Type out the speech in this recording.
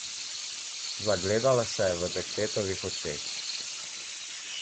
Zagledala se je v dekletovih očeh.